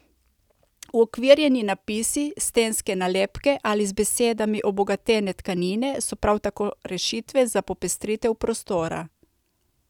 Uokvirjeni napisi, stenske nalepke ali z besedami obogatene tkanine so prav tako rešitve za popestritev prostora.